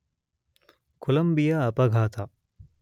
Columbia ಅಪಘಾತ